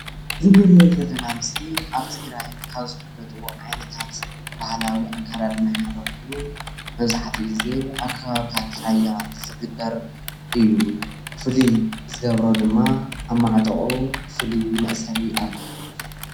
እዚ እንሪኦ ዘለና ምስሊ አብ ትግራይ ካብ ዝፈለጡ ዓይነታት ባህላዊ አከዳደና ሓደ ኾይኑ መብዛሐትኡ ግዜ አብ ከባብታት ራያ ዝግበር እዩ፡፡ ፍሉይ ዝገብሮ ድማ አብ ማዕጦቖኡ ፉሉይ መእሰሪ አሎዎ፡፡